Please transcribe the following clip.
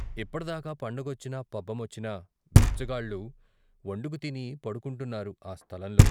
ఇప్పటి దాకా పండగొచ్చినా పబ్బమొచ్చినా బిచ్చగాళ్ళు వండుకు తిని పడుకుంటున్నారు ఆ స్థలంలో.